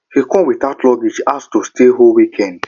he come without luggage ask to stay whole weekend